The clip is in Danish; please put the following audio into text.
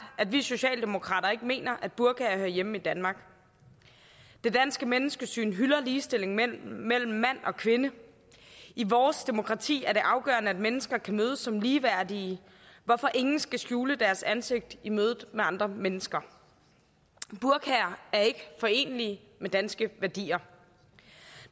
at vi socialdemokrater ikke mener at burkaer hører hjemme i danmark det danske menneskesyn hylder ligestillingen mellem mand og kvinde i vores demokrati er det afgørende at mennesker kan mødes som ligeværdige hvorfor ingen skal skjule deres ansigt i mødet med andre mennesker burkaer er ikke forenelige med danske værdier